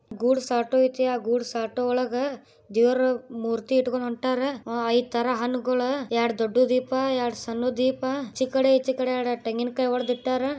Goods auto ಐತೆ goods auto ಒಳಗಡೆ ದೇವರು ಮೂರ್ತಿ ಇಟ್ಕೊಂಡು ಹೊರಟವರ ಇತರ ಹಣ್ ಹಿಡ್ಕೊಂಡು ದೊಡ್ಡ ದೊಡ್ಡ ದೀಪಗಳು ಇಡ್ಕೊಂಡು ಹೊರಟವರ ಎರಡು ದೊಡ್ಡ ದೀಪ ಎರಡು ಸಣ್ಣ ದೀಪ ಎಚೆಕಡೆ ಎರಡ್ ತೆಂಗಿನಕಾಯಿ ಒಡದ್ ಇಟ್ಟರ್ .